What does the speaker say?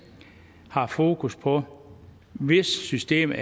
har fokus på systemet